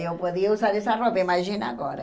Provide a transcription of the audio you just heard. Eu podia usar essa roupa, imagina agora.